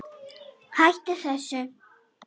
HÆTTU ÞESSU!